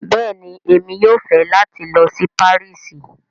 Bẹ́ẹ̀ni, Emi yóò fẹ́ lati lọ sí Parísì